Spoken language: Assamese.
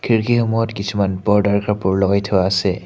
খিৰিকী সমূহত কিছুমান পৰ্দাৰ কাপোৰ লগাই থোৱা আছে।